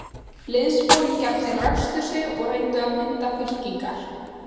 Liðsforingjarnir ræsktu sig og reyndu að mynda fylkingar.